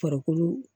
Farikolo